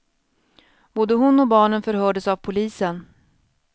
Både hon och barnen förhördes av polisen.